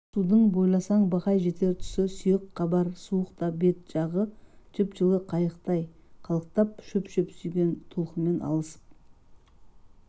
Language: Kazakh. судың бойласаң бақай жетер тұсы сүйек қабар суық та бет жағы жып-жылы қайықтай қалықтап шөп-шөп сүйген толқынмен алысып